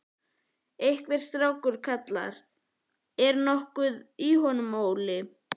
Einhver strákur kallar: Er nokkuð í honum, Óli?